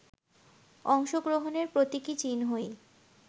অংশগ্রহণের প্রতীকী চিহ্নই